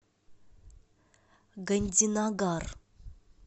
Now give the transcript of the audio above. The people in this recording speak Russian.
гандинагар